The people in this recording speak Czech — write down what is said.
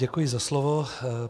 Děkuji za slovo.